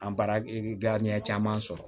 An baara caman sɔrɔ